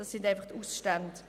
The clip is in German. Es sind einfach Ausstände.